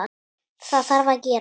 Það þarf að gera.